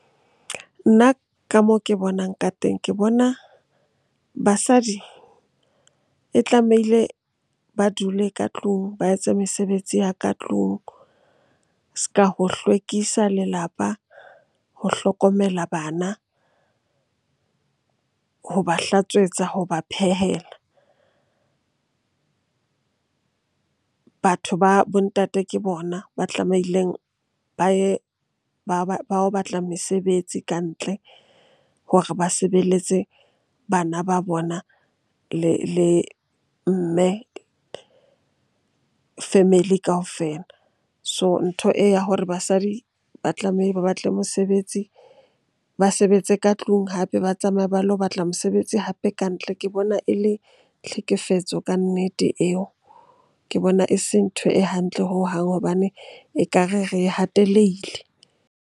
Nna ka moo ke bonang ka teng, ke bona basadi e tlamehile ba dule ka tlung ba etse mesebetsi ya ka tlung. S'ka ho hlwekisa lelapa, ho hlokomela bana, ho ba hlatswetsa, ho ba phehela. Batho ba bo ntate ke bona ba tlameileng ba ye ba yo batla mesebetsi kantle hore ba sebeletse bana ba bona le mme, family kaofela. So, ntho e ya hore basadi ba ba batle mosebetsi, ba sebetse ka tlung, hape ba tsamaye ba lo batla mosebetsi hape ka ntle. Ke bona e le tlhekefetso kannete eo, ke bona e se ntho e hantle hohang hobane ekare re hateleile.